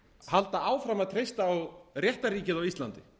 halda áfram að treysta á réttarríkið á íslandi